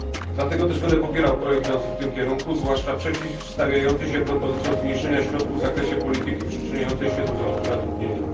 Dlatego też będę popierał projekt idący w tym kierunku, zwłaszcza przeciwstawiający się propozycjom zmniejszenia środków w zakresie polityki przyczyniającej się do wzrostu zatrudnienia.